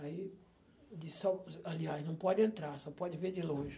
Aí disse, aliás, não pode entrar, só pode ver de longe.